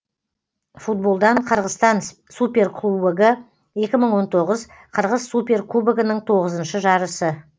футболдан қырғызстан суперкубогы екі мың он тоғыз қырғыз суперкубогының тоғызыншы жарысы